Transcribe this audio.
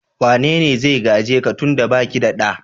Wane ne zai gaje ka tun da ba ke da ɗa?